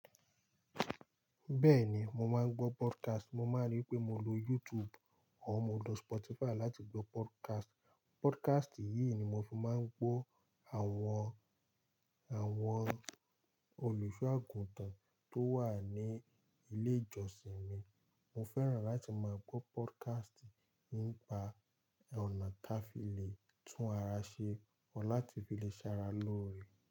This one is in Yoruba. Bẹ́ẹ̀ni, mo máa ń gbọ́ podcast. Mo máa rí pé mo lo YouTube or mo lo Spotify láti gbọ́ podcast. Podcast yìí ni mo fi máa ń gbọ́ àwọn, àwọn olùṣọ́ àgùntàn tó wà ní ilé ìjọsìn mi. Mo fẹ́ràn láti máa gbọ́ podcast nípa ọ̀nà táa fi le tún ara ṣe or láti fi le ṣara lóore.